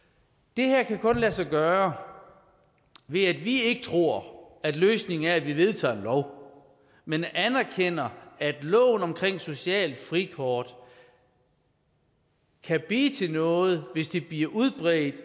det her kan kun lade sig gøre ved at vi ikke tror at løsningen er at vi vedtager en lov men anerkender at loven om socialt frikort kan blive til noget hvis det bliver udbredt